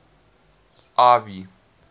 ivy